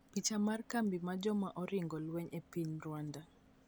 Picha mar kambi mar joma oringo lweny e piny Rwanda.